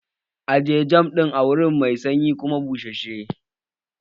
Ajiye jam ɗin a wuri mai sanyi kuma bussashe!